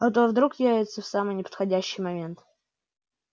а то вдруг явятся в самый неподходящий момент